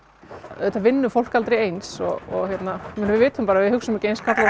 auðvitað vinnur fólk aldrei eins og við vitum bara að við hugsum ekki eins karlar